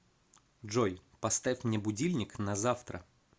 джой поставь мне будильник на завтра